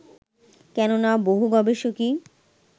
কেননা, বহু গবেষকই